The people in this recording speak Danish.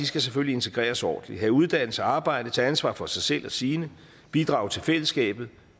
skal selvfølgelig integreres ordentligt have uddannelse arbejde tage ansvar for sig selv og sine bidrage til fællesskabet